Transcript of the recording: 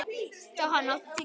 Johan, áttu tyggjó?